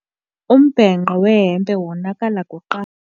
Umbhenqo wehempe wonakala kuqala.